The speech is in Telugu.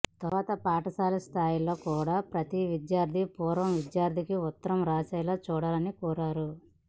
తర్వాత పాఠశాల స్థాయిలో కూడా ప్రతి విద్యార్థి పూర్వ విద్యార్థికి ఉత్తరం రాసేలా చూడాలని కోరారు